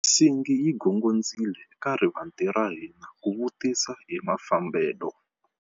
Nsingi yi gongondzile eka rivanti ra hina ku vutisa hi mafambelo.